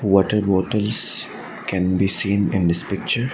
water bottles can be seen in this picture.